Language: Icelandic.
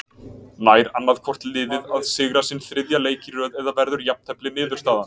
Nær annaðhvort liðið að sigra sinn þriðja leik í röð eða verður jafntefli niðurstaðan.